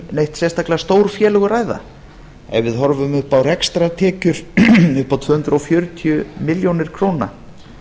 neitt sérstaklega stór félög að ræða ef við horfum upp á rekstrartekjur upp á tvö hundruð fjörutíu milljónir króna